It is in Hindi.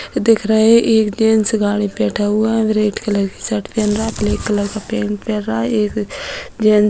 दिख रहे हैं एक जेंट्स गाड़ी पे बैठा हुआ है | रेड कलर की शर्ट पहन रहा है ब्लैक कलर का पेंट पहन रहा है | एक जेंट्स --